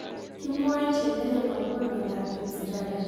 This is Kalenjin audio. Kimwae cheng'ering' akopo miandop Peutz Jagers